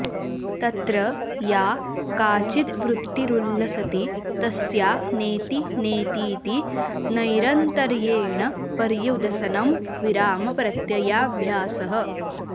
तत्र या काचिद्वृत्तिरुल्लसति तस्या नेति नेतीति नैरन्तर्येण पर्युदसनं विरामप्रत्ययाभ्यासः